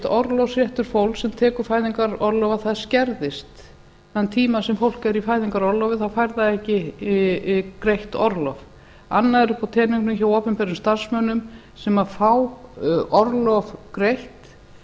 orlofsréttur fólks sem tekur fæðingarorlof að það skerðist þann tíma sem fólk er í fæðingarorlofi þá fær það ekki greitt orlof annað er uppi á teningnum hjá opinberum starfsmönnum sem fá orlof greitt